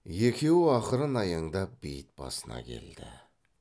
екеуі ақырын аяңдап бейіт басына келді